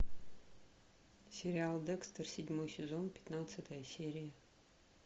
сериал декстер седьмой сезон пятнадцатая серия